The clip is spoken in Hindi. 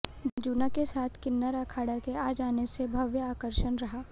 जूना के साथ किन्नर अखाड़ा के आ जाने से भव्य आकर्षण रहा